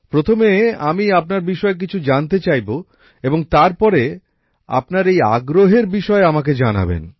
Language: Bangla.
প্রথমে আমি আপনার বিষয়ে কিছু জানতে চাইব এবং তারপরে আপনার এই আগ্রহের বিষয়ে আমাকে জানাবেন